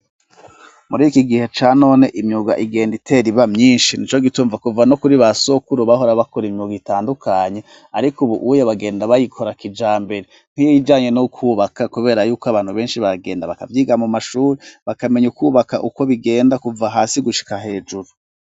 Muri iki gihe ca none imyuga igenda iteriba myinshi ni co gitumva kuva no kuri ba sokuru bahora bakora imyuga itandukanye, ariko, ubu uwuyo bagenda bayikora akijambere ntiyijanye no kwubaka, kubera yuko abantu benshi bagenda bakavyiga mu mashuri bakamenya ukwubaka ukwo bigenda kuva hasi gushika hejuru.